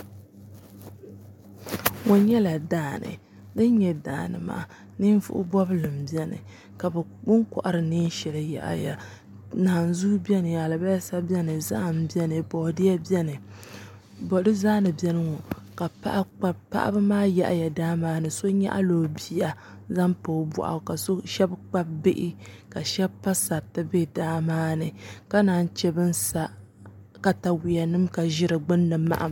Kpɛ nyɛla daani din nyɛ daani maa ninvuɣu bobli n biɛni bi ni kohari neen shɛli yahaya naanzuu biɛni alibarisa biɛni zaham biɛni boodiyɛ biɛni paɣaba maa yahaya daa maa ni so nyaɣala o bia zaŋ pa o boɣu ka shab kpabi bihi ka shab pa sariti bɛ daa maa ni ka naan chɛ bi ni sa katawiya nim ka ʒi di maham